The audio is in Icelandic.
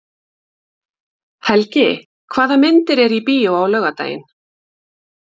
Helgi, hvaða myndir eru í bíó á laugardaginn?